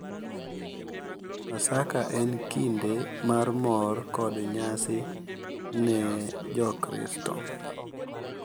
Paska en kinde mar mor kod nyasi ne Jokristo,